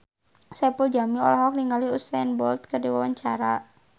Saipul Jamil olohok ningali Usain Bolt keur diwawancara